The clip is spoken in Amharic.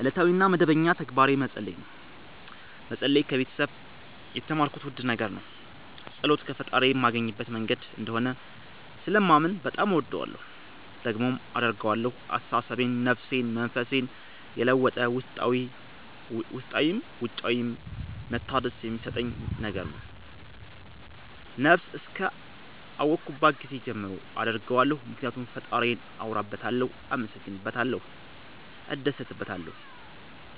እለታዊ እና መደበኛ ተግባሬ መፀለይ ነው። መፀለይ ከቤተሰብ የተማርኩት ውድ ነገር ነው። ፀሎት ፈጣሪዬን ማገኝበት መንገድ እንደሆነ ስለማምን በጣም እወደዋለሁ። ደግሞም አደርገዋለሁ አስተሳሰቤን፣ ነፍሴን፣ መንፈሴን የለወጠ ውስጣዊም ውጫዊም መታደስ የሚሠጠኝ ነገር ነው። ነብስ እስከ አወኩባት ጊዜ ጀምሮ አደርገዋለሁ ምክኒያቱም ፈጣሪዬን አወራበታለሁ፣ አመሠግንበታለሁ፣ እደሠትበታለሁ።